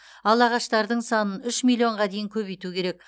ал ағаштардың санын үш миллионға дейін көбейту керек